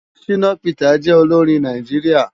Shina Peters jè óiórin Náijiriá